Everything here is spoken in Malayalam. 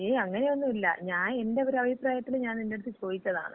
ഏയ് അങ്ങനെയൊന്നുല്ല. ഞാൻ എന്‍റെ ഒര് അഭിപ്രായത്തില് ഞാൻ നിന്‍റടുത്ത് ചോയിച്ചതാണ്?